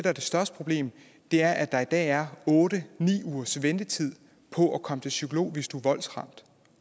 er det største problem er at der i dag er otte ni ugers ventetid på at komme til psykolog hvis du er voldsramt